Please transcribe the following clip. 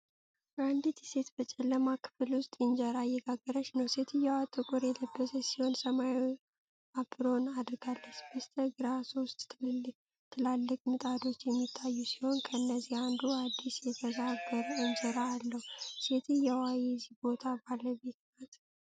አንዲት ሴት በጨለማ ክፍል ውስጥ ኢንጀራ እየጋገረች ነው። ሴትየዋ ጥቁር የለበሰች ሲሆን፣ ሰማያዊ አፕሮን አድርጋለች። በስተግራ ሶስት ትላልቅ ምጣዶች የሚታዩ ሲሆን፣ ከነዚህ አንዱ አዲስ የተጋገረ እንጀራ አለው። ሴትየዋ የዚህን ቦታ ባለቤት ናት?